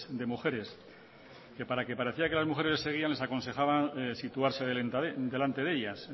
de mujeres que para que parecía que las mujeres les seguían les aconsejaban situarse delante de ellas